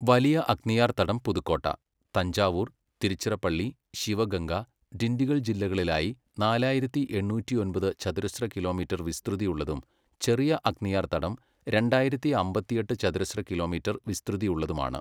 വലിയ അഗ്നിയാർ തടം പുതുക്കോട്ട, തഞ്ചാവൂർ, തിരുച്ചിറപ്പള്ളി, ശിവഗംഗ, ഡിണ്ടിഗൽ ജില്ലകളിലായി നാലായിരത്തി എണ്ണൂറ്റിയൊമ്പത് ചതുരശ്ര കിലോമീറ്റർ വിസ്തൃതിയുള്ളതും ചെറിയ അഗ്നിയാർ തടം രണ്ടായിരത്തി അമ്പത്തിയെട്ട് ചതുരശ്ര കിലോമീറ്റർ വിസ്തൃതിയുള്ളതുമാണ്.